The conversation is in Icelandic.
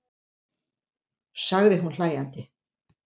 sagði hún hlæjandi.